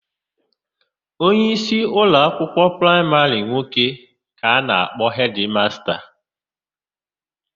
Onyeisi ụloakwụkwọ praịmarị nwoke ka a na-akpọ hedịmasta.